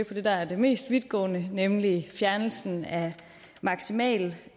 på det der er det mest vidtgående nemlig fjernelsen af maksimalprisen